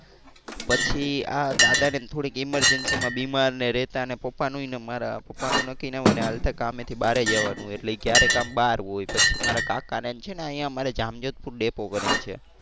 પછી આ દાદા ને થોડી emergency માં બીમાર ને રહેતા ને પપ્પા નું ને મારા પપ્પાનું નક્કી ના હોય એને હાલતા કામે થી બારે જવાનું હોય એટલે એ ક્યારેક આમ બહાર હોય પછી મારા કાકા ને આમ છે ને અહિયાં જામ જોધપુર ડેપો કરી ને છે.